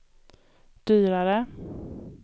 dyrare